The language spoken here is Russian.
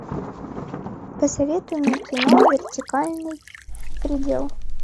посоветуй мне кино вертикальный предел